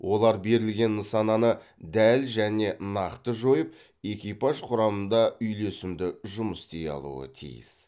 олар берілген нысананы дәл және нақты жойып экипаж құрамында үйлесімді жұмыс істей алуы тиіс